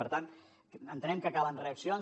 per tant entenem que calen reaccions